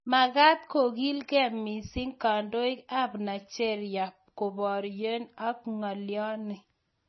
Makaaat kokiilgei missing kandoik ab Nigeria koboryo ak ng'alyoni